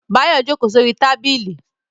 Báyọ̀ jókòó sórí tábìlì